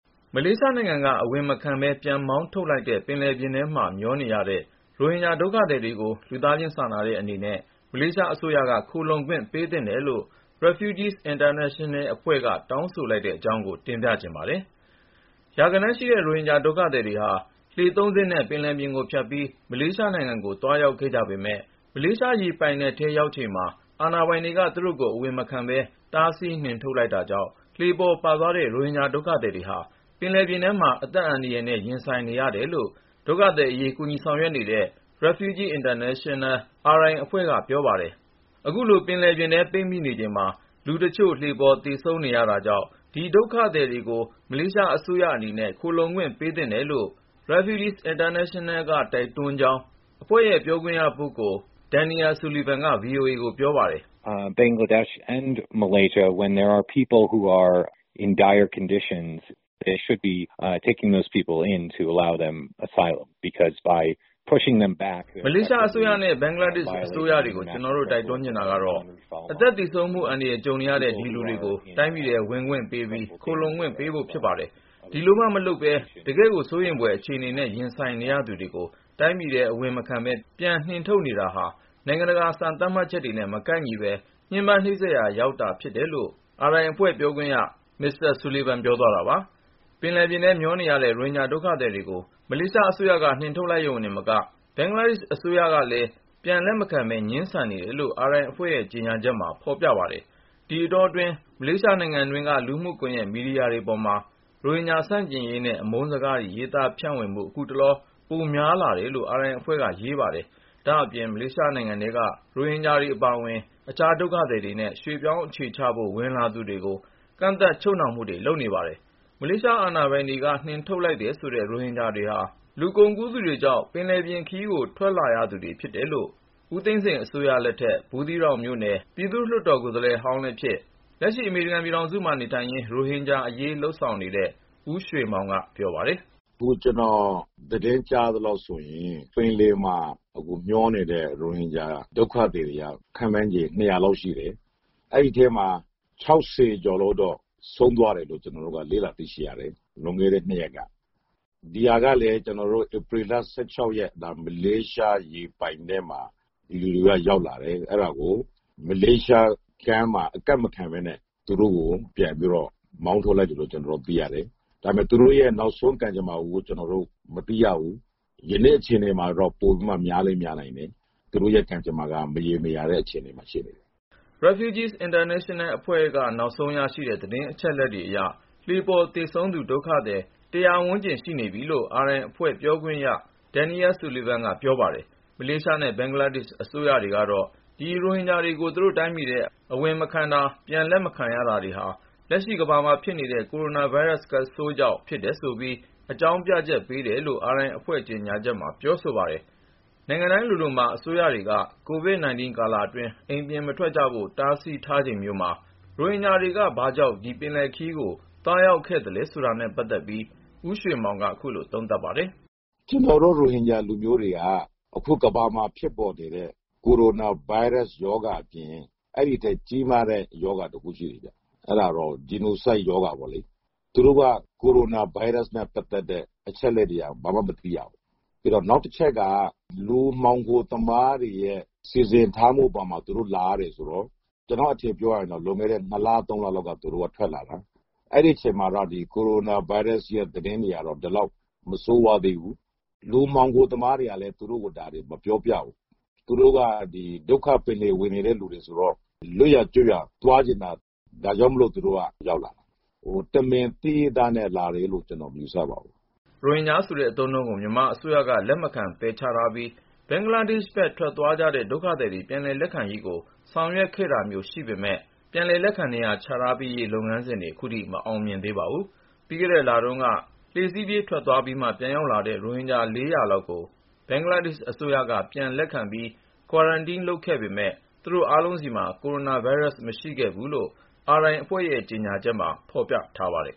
မလေးရှားနိုင်ငံကို အဝင်မခံပဲ ပြန်မောင်းထုတ်လိုက်လို့ ပင်လယ်ပြင်ထဲမှာ မျောနေရတဲ့ ရိုဟင်ဂျာ ဒုက္ခသည်တွေကို လူသားချင်းစာနာတဲ့ အနေနဲ့ မလေးရှားအစိုးရက ခိုလှုံခွင့် ပေးသင့်တယ်လို့ Refugees International အဖွဲ့က တောင်းဆိုလိုက်တဲ့ အကြောင်းကို ကို ဉာဏ်ဝင်းအောင် တင်ပြထားပါတယ်။ ရာဂဏန်းရှိတဲ့ ရိုဟင်ဂျာဒုက္ခသည်တွေဟာ လှေ စင်းနဲ့ ပင်လယ်ပြင်ကို ဖြတ်ပြီး မလေးရှားနိုင်ငံကို သွားရောက်ခဲ့ကြ ပေမဲ့ ၊ မလေးရှား ရေပိုင်နက်ထဲရောက်ချိန်မှာ အာဏာပိုင်တွေက သူတို့ကို အဝင်မခံပဲ တားဆီး နှင်ထုတ်လိုက်တာကြောင့် လှေပေါ် ပါသွားတဲ့ ရိုဟင်ဂျာဒုက္ခသည်တွေဟာ ပင်လယ်ပြင်ထဲမှာ အသက်အန္တရာယ်နဲ့ ရင်ဆိုင်နေရတယ်လို့ ဒုက္ခသည်အရေး ကူညီ ဆောင်ရွက်နေတဲ့ Refugees International အဖွဲ့က ပြောပါတယ်။ အခုလို ပင်လယ်ပြင်ထဲ ပိတ်မိနေချိန်မှာ လူတချို့ လှေပေါ် သေဆုံးနေရတာကြောင့် ဒီ ရိုဟင်ဂျာ ဒုက္ခသည်တွေကို မလေးရှားအစိုးရအနေနဲ့ ခိုလှုံခွင့် ပေးသင့်တယ်လို့ Refugees International က တိုက်တွန်းကြောင်း အဖွဲ့ရဲ့ ပြောခွင့်ရ ပုဂ္ဂိုလ် Mr. Daniel Sullivan က VOA ကို ပြောပါတယ်။ “ မလေးရှားအစိုးရနဲ့ ဘင်္ဂလားဒေ့ရှ် အစိုးရတွေကို ကျနော် တိုက်တွန်းချင်တာက တော့ အသက်သေဆုံးမှု အန္တရာယ် ကြုံနေရတဲ့ ဒီလူတွေကို တိုင်းပြည်ထဲ ဝင်ခွင့်ပေးပြီး ခိုလှုံခွင့် ပေးဖို့ ဖြစ်ပါတယ်။ ဒီလိုမှ မဟုတ်ပဲ တကယ့်ကို စိုးရိမ်ဖွယ် အခြေအနေနဲ့ ရင်ဆိုင်နေရသူတွေကို တိုင်းပြည်ထဲ အဝင်မခံပဲ ပြန်နှင်ထုတ်နေတာဟာ နိုင်ငံတကာ စံသတ်မှတ်ချက်တွေနဲ့ မကိုက်ညီပဲ ညှဉ်းပန်းနှိပ်စက်ရာ ရောက်ပါတယ်” လို့ RI ပြောခွင့်ရ Daniel Sullivan ပြောသွားတာပါ။ ပင်လယ်ထဲ မျောနေရတဲ့ ရိုဟင်ဂျာဒုက္ခသည်တွေကို မလေးရှားအစိုးရက နှင်ထုတ်လိုက်သလို ၊ ဘင်္ဂလားဒေ့ရှ် အစိုးရကလည်း ပြန် လက်မခံပဲ ငြင်းဆန် နေတယ်လို့ RI အဖွဲ့ရဲ့ ကြေညာချက်ထဲ မှာ ဖေါ်ပြပါတယ်။ ဒီအတောတွင်း မလေးရှားနိုင်ငံတွင်းက လူမှုကွန်ယက် မီဒီယာတွေပေါ်မှာလည်း ရိုဟင်ဂျာ ဆန့်ကျင်ရေးနဲ့ အမုန်းစကားတွေ ရေးသား ဖြန့်ဝေမှု ခုတ လော ပိုများ လာတယ်လို့ RI အဖွဲ့က ရေးပါတယ်။ ဒါ့အပြင် မလေးရှားနိုင်ငံထဲမှာ ရိုဟင်ဂျာတွေအပါအဝင် အခြားဒုက္ခသည်တွေနဲ့ ရွှေ့ပြောင်း အခြေချဖို့ ဝင်လာသူတွေကို ကန့်သတ် ချုပ်နှောင်တာတွေ လုပ်နေတယ်လို့ ဆိုပါတယ်။ မလေးရှားအာဏာပိုင်တွေက နှင်ထုတ်လိုက်တဲ့ ဒီရိုဟင်ဂျာတွေဟာ လူကုန်ကူးသူတွေကြောင့် ပင်လယ်ပြင်ခရီးကို ထွက်လာရသူတွေ ဖြစ်တယ်လို့ ဦးသိန်းစိန် အစိုးရလက်ထက် ဘူးသီးတောင်မြို့နယ် ပြည်သူ့လွှတ်တော် အမတ်ဟောင်းလည်းဖြစ် ၊ လက်ရှိ အမေရိကန် ပြည်ထောင်စုမှာ နေထိုင်ရင်း ရိုဟင်ဂျာအရေး လှုပ်ရှားနေသူဖြစ်တဲ့ ဦးရွှေမောင်က ပြောပါတယ်။ " အခု ကျနော် သတင်း ကြားရသလောက်ဆိုရင် ပင်လယ်ထဲမှာ မျောနေတဲ့ ရိုဟင်ဂျာဒုက္ခသည်တွေက ခန့်မှန်းခြေ ၂၀၀ လောက်ရှိတယ်။ အဲဒီထဲမှာ လူ ကျော်လောက် သေဆုံးသွားတယ်လို့ ကျနော်တို့ လေ့လာသိရှိရတယ် လွန်ခဲ့တဲ့ ၂ ရက်က ။ ဒါကလည်း ဧပြီ လောက်က မလေးရှားရေပိုင်နက်ထဲမှာ ဒီလူတွေ ရောက်လာတယ်၊ အဲဒါကို မလေးရှား ကမ်းမှာ အကပ်မခံပဲနဲ့ သူတို့ကို ပြန်ပြီး မောင်းထုတ်လိုက်တယ်လို့ ကျနော်တို့ သိရတယ်။ ဒါပေမဲ့ သူတို့ရဲ့ နောက်ဆုံး ကံကြမ္မာကို ကျနော်တို့ မသိရဘူး။ ဒီကနေ့ အခြေအနေမှာတော့ သေဆုံးသူ ပိုပြီးလည်း များလာနိုင်တယ်။ " Refugees International အဖွဲ့က နောက်ဆုံး ရရှိတဲ့ သတင်းအချက် အလက် တွေအရ လှေ ပေါ် သေဆုံးတဲ့ ဒုက္ခသည် ဝန်းကျင်လောက် ရှိနေပြီလို့ RI အဖွဲ့ ပြောခွင့်ရ Daniel Sullivan က ပြောပါတယ်။ မလေးရှားနဲ့ ဘင်္ဂလားဒေ့ရှ် အစိုးရတွေကတော့ ဒီရိုဟင်ဂျာတွေကို သူတို့တိုင်းပြည်ထဲ အဝင်မခံတာ၊ ပြန် လက်မခံ ရတာတွေဟာ လက်ရှိကမ္ဘာမှာဖြစ်နေတဲ့ ကိုရိုနာဗိုင်းရပ်စ် ကပ်ရောဂါဆိုးကြောင့် ဖြစ်တယ်ဆိုပြီး အကြောင်းပြချက်ပေးတယ်လို့လည်း RI အဖွဲ့ ကြေညာချက်မှာ ပြောဆိုထားပါတယ်။ နိုင်ငံတိုင်းလိုလိုမှာ အစိုးရတွေက COVID-19 ကာလအတွင်း အိမ်ပြင်မထွက်ကြဖို့ တားမြစ် ထားချိန်မျိုးမှာ ရိုဟင်ဂျာတွေက ဘာကြောင့် ဒီပင်လယ်ခရီးကို သွားရောက်ခဲ့သလဲ ဆိုတာနဲ့ ပတ်သက်ပြီး ဦးရွှေမောင်က ခုလို သုံးသပ်ပါတယ်။ " ကျနော်တို့ ရိုဟင်ဂျာလူမျိုးတွေဟာ အခုကမ္ဘာမှာ ဖြစ်ပေါ်နေတဲ့ ကိုရိုနာဗိုင်းရပ်စ် ရောဂါအပြင် အဲဒီထက် ကြီးမားတဲ့ရောဂါတခုရှိသေးတယ် အဲဒါက ဂျီနိုဆိုက်ရောဂါပေ့ါလေ။ သူတို့က အင်တာနက်တွေ ဖြတ်တောက်ခံထားရတော့ ကိုရိုနာဗိုင်းရပ်စ်နဲ့ ပတ်သက်တဲ့ အချက်လက်တွေ ဘာမှ မသိရဘူး။ နောက်တချက်က လူမှောင်ခို သမားတွေရဲ့ စီစဉ်မှုအပေါ်မှာ သူတို့ လာရတာဆိုတော့.. ကျနော့်အထင် ပြောရရင် သူတို့က လွန်ခဲ့တဲ့ ၂ လ ၃ လ လောက်က ထွက်လာကြတာ။ အဲဒီအချိန်မှာ ဒီကိုရိုနာဗိုင်းရပ်စ် သတင်းတွေက ဒီလောက် မဆိုးဝါး သေးဘူး။ လူမှောင်ခိုသမားတွေကလည်း သူတို့ကို ဒါတွေ မပြောပြဘူး။ သူတို့ ဒုက္ခပင်လယ် ဝေနေတဲ့လူတွေဆိုတော့ လွတ်ရာ ကျွတ်ရာ သွားချင်တာ ဒါကြောင့်မို့ သူတို့ထွက်လာတာပါ။ တမင် သိရဲ့သားနဲ့ထွက်လာတာလို့ ကျနော် မယူဆပါဘူး။ " ရိုဟင်ဂျာဆိုတဲ့ အသုံးအနှုန်းကို မြန်မာအစိုးရက လက်မခံ ပယ်ချထားပြီး ဘင်္ဂလားဒေ့ရှ်ဘက် ထက်သွားကြတဲ့ ဒုက္ခသည်တွေ ပြန်လည်လက်ခံရေးကို ဆောင်ရွက်ခဲ့တာမျိုး ရှိပေမယ့်လည်း ပြန်လည်လက်ခံ နေရာချထား ပေးရေး လုပ်ငန်းစဉ်တွေ ခုထိ မ အောင်မြင် သေးပါဘူး။ ပြီးခဲ့တဲ့ လတုန်းကလည်း လှေစီးပြေး ထွက်သ ွားပြီးမှ ပြန်ရောက်လာတဲ့ ရိုဟင်ဂျာ လောက်ကို ဘင်္ဂလားဒေ့ရှ် အစိုးရက ပြန်လည်လက်ခံပြီး Quarantine လုပ်ခဲ့ပေမဲ့ သူတို့အားလုံးဆီမှာ ကိုရိုနာဗိုင်းရပ် မရှိခဲ့ဘူးလို့ Refugees International ရဲ့ ကြေညာချက်မှာ ဖေါ်ပြထားပါတယ်